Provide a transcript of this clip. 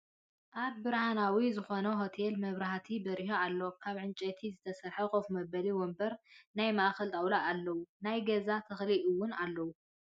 ኣብ ብርሃናዊ ዝኮነ ሆቴል መበራሂቲ በሪሁ ኣሎ። ካብ ዕንጨይቲ ዝተሰረሐ ከፍ መበሊ ወንበርን ናይ ማእከል ጣውላን ኣለው። ናይ ገዛ ተክሊ እውን ኣለው።